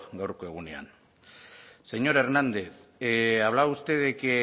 gaurko egunean señor hernández hablaba usted de que